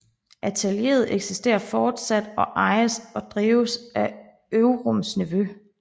Atelieret eksisterer fortsat og ejes og drives af Ovrums nevø